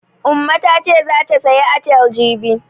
Umma ta ce zata sayi atile jibi.